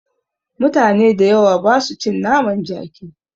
Mutane da yawa basu cin naman jaki